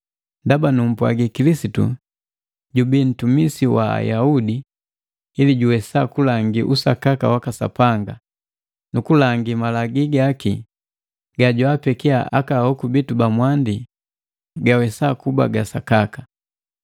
Ndaba numpwagi Kilisitu jubi nntumisi wa Ayaudi ili juwesa kulangi usakaka waka Sapanga, nukulangi malagii gaki gajwaapekia aka hoku bitu ba mwandi gawesa kuba ga sakaka,